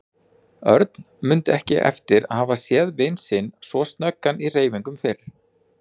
Örn mundi ekki eftir að hafa séð vin sinn svo snöggan í hreyfingum fyrr.